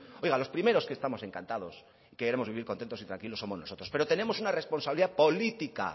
oiga los primeros que estamos encantados queremos vivir contentos y tranquilos somos nosotros pero tenemos una responsabilidad política